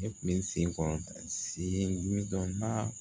Ne kun bɛ sen kɔrɔta sen mi dɔn